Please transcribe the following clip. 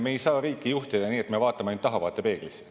Me ei saa riiki juhtida nii, et me vaatame ainult tahavaatepeeglisse.